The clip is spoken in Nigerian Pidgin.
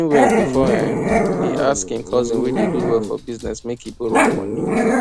he reason well before um e ask him cousin wey dey do well for business make e borrow am money